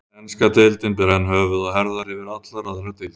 Enska deildin ber enn höfuð og herðar yfir allar aðrar deildir.